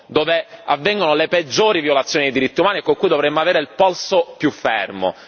dove avvengono le peggiori violazioni dei diritti umani e con cui dovremmo avere un polso più fermo.